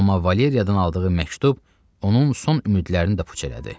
Amma Valeriyadan aldığı məktub onun son ümidlərini də puç elədi.